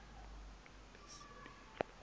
lezempilo